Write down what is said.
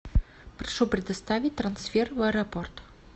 прошу предоставить трансфер в аэропорт